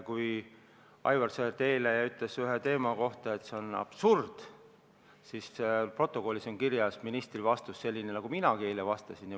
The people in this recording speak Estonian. Kui Aivar Sõerd eile ütles ühe teema kohta, et see on absurd, siis protokollis on kirjas ministri vastus sellisena, nagu minagi eile vastasin.